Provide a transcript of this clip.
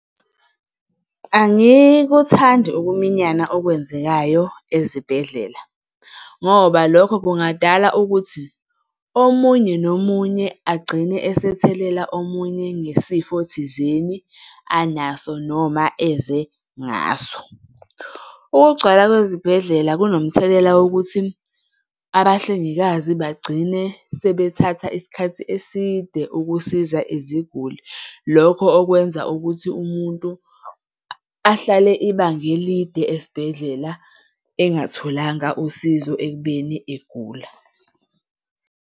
Angikuthandi ukuminyana okwenzekayo ezibhedlela ngoba lokho kungadala ukuthi omunye nomunye agcine esethelela omunye ngesifo thizeni anaso noma eze ngaso. Ukugcwala kwezibhedlela kunomthelela wokuthi abahlengikazi bagcine sebethatha isikhathi eside ukusiza iziguli, lokho okwenza ukuthi umuntu ahlale ibanga elide esibhedlela engatholanga usizo ekubeni egula.